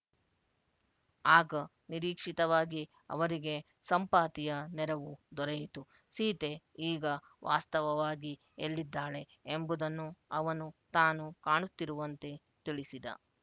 ಆಗ ನಿರೀಕ್ಷಿತವಾಗಿ ಅವರಿಗೆ ಸಂಪಾತಿಯ ನೆರವು ದೊರೆಯಿತು ಸೀತೆ ಈಗ ವಾಸ್ತವವಾಗಿ ಎಲ್ಲಿದ್ದಾಳೆ ಎಂಬುದನ್ನು ಅವನು ತಾನು ಕಾಣುತ್ತಿರುವಂತೆ ತಿಳಿಸಿದ